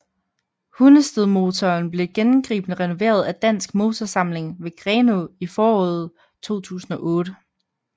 Hundestedmotoren blev gennemgribende renoveret af Dansk Motorsamling ved Grenå i foråret 2008